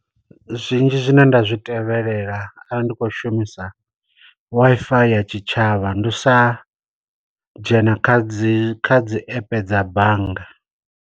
Zwinzhi zwine nda zwi tevhelela arali ndi kho shumisa Wi-Fi ya tshitshavha, ndi u sa dzhena kha dzi kha dzi epe dza bannga.